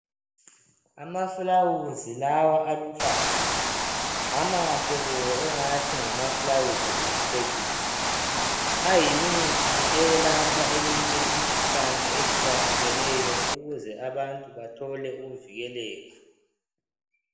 Amafulawuzi lawa aluhlaza amahle bo engathi ngamafulawuzi okucecisa ayimithi eyelapha eminye imikhuhlane ehlukahlukeneyo ukuze abantu bathole ukuvikeleka.